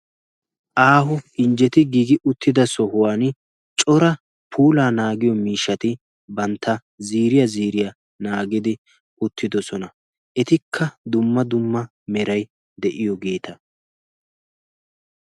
aaho injjeti giigi uttida sohuwan cora puulaa naagiyo miishshati bantta ziiriya ziiriyaa naagidi ottidosona etikka dumma dumma meray de'iyoogeeta